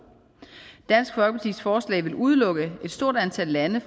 dansk folkepartis forslag vil udelukke et stort antal lande